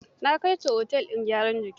Na kai ta otel din gyaran jiki.